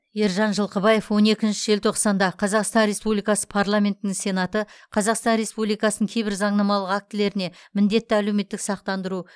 ержан жалқыбаев он екінші желтоқсанда қазақстан республикасы парламентінің сенаты қазақстан республикасының кейбір заңнамалық актілеріне міндетті әлеуметтік сақтандыру